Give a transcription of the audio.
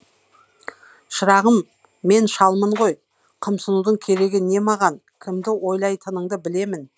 шырағым мен шалмын ғой қымсынудың керегі не маған кімді ойлайтыныңды білемін